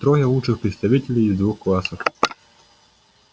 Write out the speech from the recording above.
трое лучших представителей из двух классов